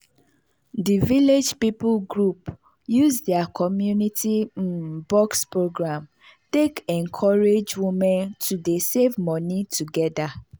the village people group use their community um box program take encourage women to dey save money together.